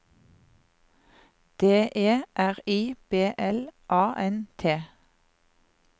D E R I B L A N T